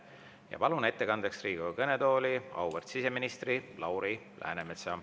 Ma palun ettekandjaks Riigikogu kõnetooli auväärt siseministri Lauri Läänemetsa.